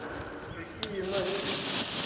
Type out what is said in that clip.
какие ночи